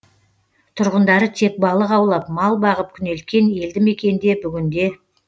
тұрғындары тек балық аулап мал бағып күнелткен елді мекенде бүгінде